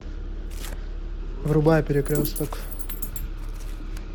врубай перекресток